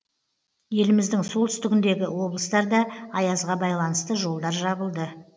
еліміздің солтүстігіндегі облыстарда аязға байланысты жолдар жабылды